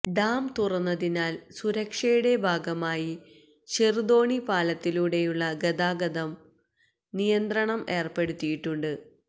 dam തുറന്നതിനാല് സുരക്ഷയുടെ ഭാഗമായി ചെറുതോണി പാലത്തിലൂടെയുള്ള ഗതാഗതനം നിയന്ത്രണം ഏര്പ്പെടുത്തിയിട്ടുണ്ട്